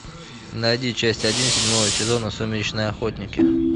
найди часть один седьмого сезона сумеречные охотники